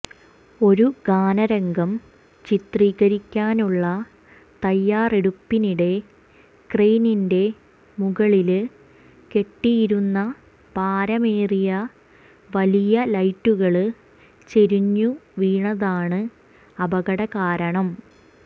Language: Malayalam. ഒരു ഗാനരംഗം ചിത്രീകരിക്കാനുള്ള തയ്യാറെടുപ്പിനിടെ ക്രെയിനിന്റെ മുകളില് കെട്ടിയിരുന്ന ഭാരമേറിയ വലിയ ലൈറ്റുകള് ചെരിഞ്ഞു വീണതാണ് അപകടകാരണം